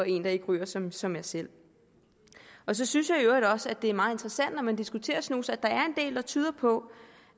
en der ikke ryger som som jeg selv så synes jeg i øvrigt også at det er meget interessant når man diskuterer snus at der er en del der tyder på